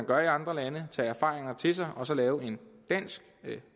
gør i andre lande tage erfaringer til sig og så lave en dansk